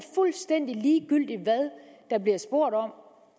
fuldstændig ligegyldigt hvad der bliver spurgt om